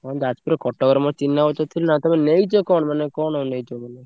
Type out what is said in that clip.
ହଁ ଯାଜପୁରରେ କଟକରେ ମୋର ଚିହ୍ନା ଅଛନ୍ତି ନା। ତମେ ନେଇଚ କଣ ମାନେ କଣ ନେଇଚ ତମେ?